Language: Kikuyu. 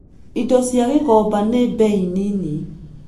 Indo cia Gikomba nĩ bei nini.